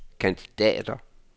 kandidater